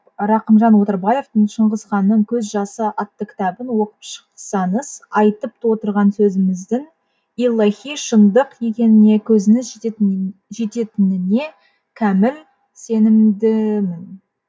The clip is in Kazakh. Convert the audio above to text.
рахымжан отарбаевтың шыңғысханның көз жасы атты кітабын оқып шықсаңыз айтып отырған сөзіміздің иллахи шындық екеніне көзіңіз жететініне кәміл сенімдімін